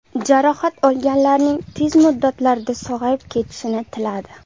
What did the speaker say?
Jarohat olganlarning tez muddatlarda sog‘ayib ketishini tiladi.